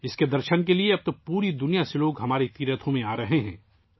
اب 'درشن' کے لیے دنیا بھر سے لوگ ہماری تیرتھوں پر آ رہے ہیں